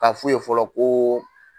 Ka f'u ye fɔlɔ ko